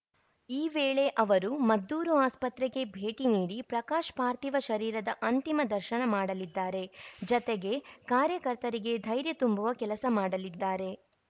ಈ ವೇಳೆ ಅವರು ಮದ್ದೂರು ಆಸ್ಪತ್ರೆಗೆ ಭೇಟಿ ನೀಡಿ ಪ್ರಕಾಶ್‌ ಪಾರ್ಥಿವ ಶರೀರದ ಅಂತಿಮ ದರ್ಶನ ಮಾಡಲಿದ್ದಾರೆ ಜತೆಗೆ ಕಾರ್ಯಕರ್ತರಿಗೆ ಧೈರ್ಯ ತುಂಬುವ ಕೆಲಸ ಮಾಡಲಿದ್ದಾರೆ